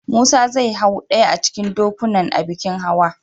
Musa zai hau ɗaya a cikin dokunan a bikin hawa.